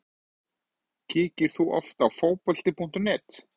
Kíkir þú oft á Fótbolti.net?